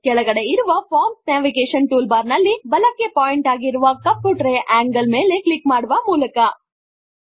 ಕೆಳಗಡೆ ಇರುವ forms navigation toolbar ನಲ್ಲಿ ಬಲಕ್ಕೆ ಪಾಯಿಂಟ್ ಆಗಿರುವ ಕಪ್ಪು ಟ್ರೈ ಯಂಗಲ್ ಮೇಲೆ ಕ್ಲಿಕ್ ಮಾಡುವ ಮೂಲಕ